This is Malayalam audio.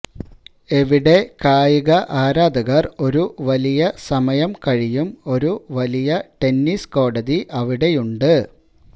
എവിടെ കായിക ആരാധകർ ഒരു വലിയ സമയം കഴിയും ഒരു വലിയ ടെന്നീസ് കോടതി അവിടെയുണ്ട്